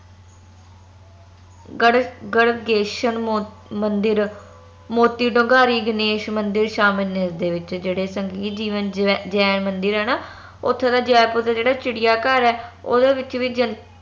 ਗੜ ਗੜਗੇਸ਼ਨ ਮੌਤ ਮੰਦਿਰ ਮੋਤੀਢੁੰਗਾਰੀ ਗਣੇਸ਼ ਮੰਦਿਰ ਦੇ ਵਿਚ ਜਿਹੜੇ ਜੇ ਜੈਨ ਮੰਦਿਰ ਹਨਾ ਓਥੋਂ ਦੇ ਜੈਪੁਰ ਦਾ ਜੇਹੜਾ ਚਿੜੀਆਘਰ ਆ ਓਂਦੇ ਵਿਚ ਵੀ